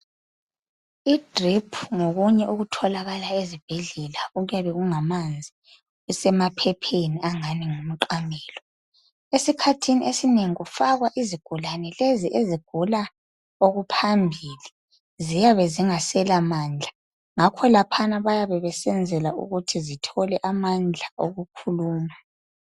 IDriphu ngokunye okutholakala ezibhedlela okuyabe kungamanzi kusemaphepheni angani ngumqamelo. Esikhathini esinengi kufakwa izigulane lezi ezigula okuphambili ,ziyabe zingaselamandla, ngakho bayabe besenzela ukuthi zithole amandla okukhuluma.